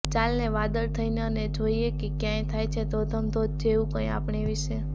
ચાલને વાદળ થઈએ અને જોઈએ કે ક્યાંક થાય છે ધોધમધોધ જેવું કંઈ આપણી વિશે